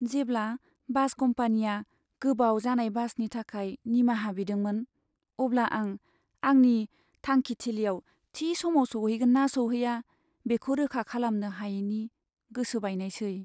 जेब्ला बास कम्पानीया गोबाव जानाय बासनि थाखाय निमाहा बिदोंमोन, अब्ला आं आंनि थांखिथिलियाव थि समाव सौहैगोन ना सौहैआ, बेखौ रोखा खालामनो हायैनि गोसो बायनायसै।